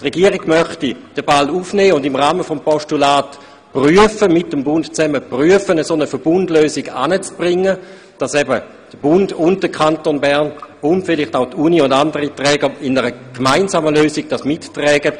Die Regierung möchte den Ball aufnehmen und im Rahmen des Postulats prüfen, ob es möglich ist, gemeinsam mit dem Bund eine Verbundlösung zu schaffen, sodass der Bund, der Kanton Bern, vielleicht auch die Universität und andere diese gemeinsame Lösung mittragen.